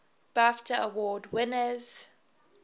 bafta award winners